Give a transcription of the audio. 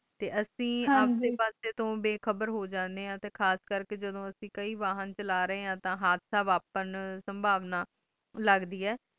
ਤੇ ਅਸੀਂ ਸਬ ਡੇ ਪਾਸੋ ਤੋਂ ਬੇਖ਼ਬਰ ਹੋ ਜਾਂਦੇ ਆਂ ਤੇ ਖਾਸ ਕਰਕੇ ਜਦੋਂ ਅਸੀਂ ਕੇ ਵਾਹਨ ਚਲਾ ਰਾਏ ਆਂ ਤੇ ਹਾਦਸਾ ਵਾਪਨ ਸੰਭਾਵਨਾ ਲੱਗਦੈ ਆਏ